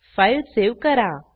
file save करा